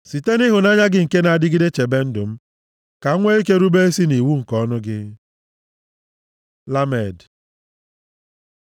Site nʼịhụnanya gị nke na-adịgide chebe ndụ m, ka m nwe ike rube isi nʼiwu nke ọnụ gị. ל Lamed